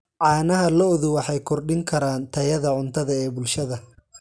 Caanaha lo'du waxay kordhin karaan tayada cuntada ee bulshada.